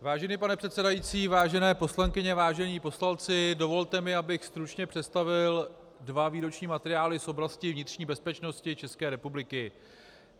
Vážený pane předsedající, vážené poslankyně, vážení poslanci, dovolte mi, abych stručně představil dva výroční materiály z oblasti vnitřní bezpečnosti České republiky.